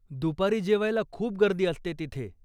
दुपारी जेवायला खूप गर्दी असते तिथे.